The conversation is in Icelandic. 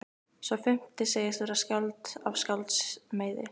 Sá fimmti segist vera skáld af skálds meiði.